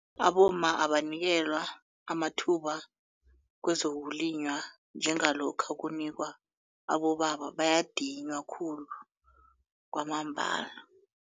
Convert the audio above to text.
Abomma abanikelwa amathuba kwezokulima njengalokha kunikelwa abobaba bayadinywa khulu kwamambala.